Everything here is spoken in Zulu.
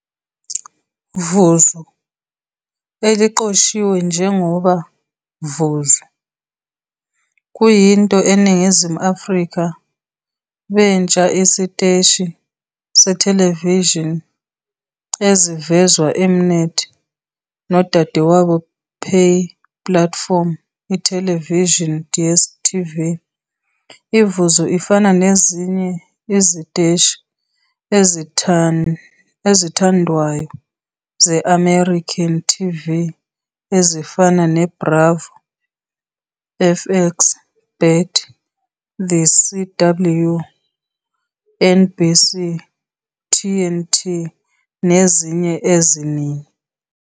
Vuzu, eliqoshiwe njengoba VUZU, kuyinto eNingizimu Afrika bentsha isiteshi sethelevishini ezivezwa -M-Net nodadewabo pay platform ithelevishini DStv. IVuzu ifana nezinye iziteshi ezithandwayo ze-American TV ezifana neBravo, FX, BET, The CW, NBC, TNT nezinye eziningi.